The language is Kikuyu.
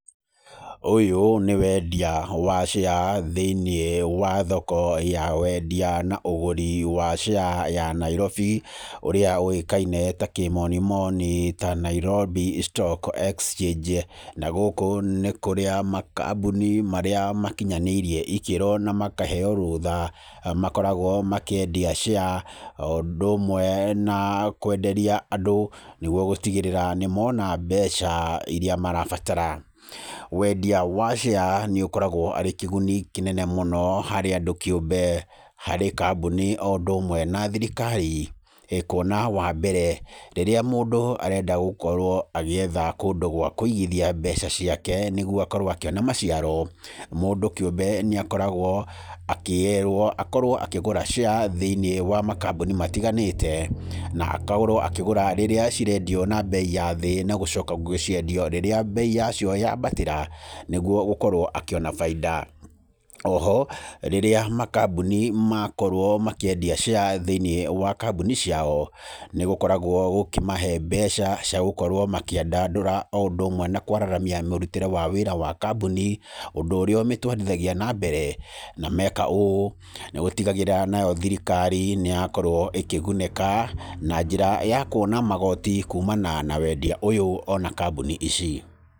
Ũyũ nĩ wendia wa share thĩ-inĩ wa thoko ya wendia na ũgũri wa share ya Nairobi ũrĩa ũĩkaine ta kĩmoni moni ta Nairobi stocks exchange na gũkũ nĩ kũrĩa makambuni marĩa makinyanĩirie ikĩro na makaheo rũtha makoragwo makĩendia share, o ũndũ ũmwe na kwenderia andũ nĩguo gũtigĩrĩra nĩmona mbeca iria marabatara. Wendia wa share nĩ ũkoragwo arĩ kĩguni kĩnene mũno harĩ andũ kĩũmbe, harĩ kambuni o ũndũ ũmwe na thirikari, kuona wa mbere rĩrĩa mũndũ arenda gũkorwo agĩetha kũndũ gwa kũigithia mbeca ciake nĩguo akorwo akĩona maciaro, mũndũ kĩũmbe nĩ akoragwo akĩĩrwo akorwo akĩgũra share thĩ-inĩ wa makambuni matiganĩte, na akorwo akĩgũra rĩrĩa cirendio na mbei ya thĩ na gũcoka gũciendia rĩrĩa mbei yacio yambatĩra, nĩguo gũkorwo akĩona baida. O ho rĩrĩa makambuni makorwo makĩendia share thĩ-inĩ wa kamboni ciao, nĩ gũkoragwo gũkĩmahe mbeca cia gũkorwo makĩandandũra o ũndũ ũmwe na kwararamia mũrutĩre wa wĩra wa kambũni, ũndũ ũrĩa ũmĩtwarithagia na mbere, na meka ũũ, nĩ gũtigagĩrĩra nayo thirikari nĩyakorwo ĩkĩgunĩka na njĩra ya kuona magoti kumana na wendia ũyũ o na kambuni ici.